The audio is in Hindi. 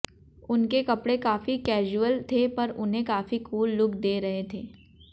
उनके कपड़े काफी कैसुअल थे पर उन्हें काफी कूल लुक दे रहे थे